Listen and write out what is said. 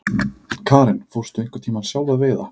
Karen: Fórstu einhvern tímann sjálf að veiða?